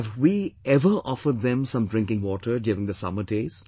Have we ever offered them some drinking water during the summer days